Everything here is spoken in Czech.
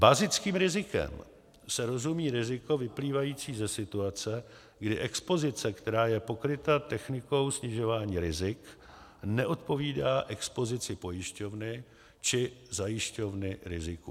Bazickým rizikem se rozumí riziko vyplývající ze situace, kdy expozice, která je pokryta technikou snižování rizik, neodpovídá expozici pojišťovny či zajišťovny rizikům.